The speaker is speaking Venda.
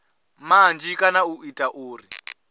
manzhi kana u ita uri